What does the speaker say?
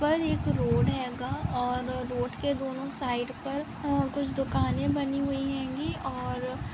पर एक रोड हेगा और रोड के दोनो साइड पर अ कुछ दुकानें बनी हुई हेंगी और --